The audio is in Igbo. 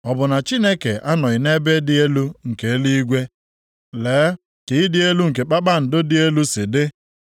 “Ọ bụ na Chineke anọghị nʼebe dị elu nke eluigwe? Lee ka ịdị elu nke kpakpando dị elu si dị.